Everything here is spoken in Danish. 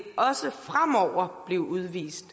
også fremover blive udvist